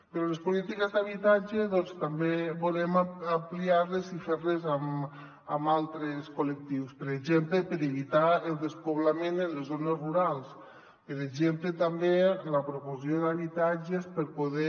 però les polítiques d’habitatge també volem ampliar les i fer les amb altres collectius per exemple per evitar el despoblament en les zones rurals per exemple també la promoció d’habitatges per poder